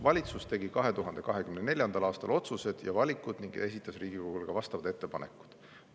Valitsus tegi 2024. aastal otsused ja valikud ning esitas Riigikogule ka vastavad ettepanekud.